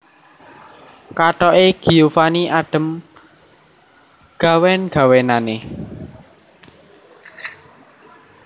Kathok e Giovanni adem gawen gawenane